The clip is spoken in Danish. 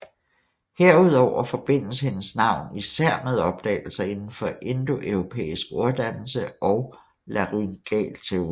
Herudover forbindes hendes navn især med opdagelser inden for indoeuropæisk orddannelse og laryngalteori